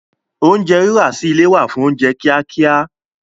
Oúnjẹ rírà sí ilé wà fún oúnjẹ kíá kíá